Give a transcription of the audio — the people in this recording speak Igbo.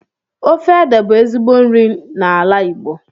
Ofe ede bú ezigbo nri n'ala Igbo